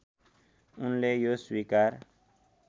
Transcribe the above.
उनले यो स्वीकार